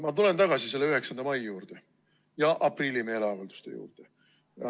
Ma tulen tagasi selle 9. mai juurde ja aprillimeeleavalduste juurde.